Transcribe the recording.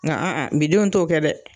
Nka bi denw t'o kɛ dɛ